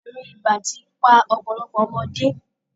Àrùn ibà ti pa ọ̀pọ̀lọpọ̀ ọmọdé.